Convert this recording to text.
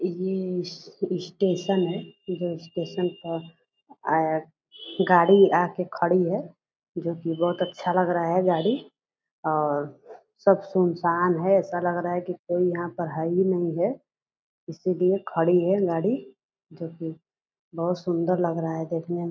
ई ई स्टेशन है जो स्टेशन पर अ अ गाड़ी आके खड़ी है जो कि बहुत अच्छा लग रहा है गाड़ी और सब सुनसान है। ऐसा लग रहा है कि कोई यहाँ पर है ही नहीं है। इसलिए खड़ी है गाड़ी जो कि बहुत सुंदर लग रहा है देखने में।